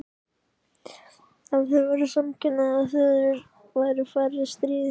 Ef til væru samkynhneigðar þjóðir væru færri stríð í heim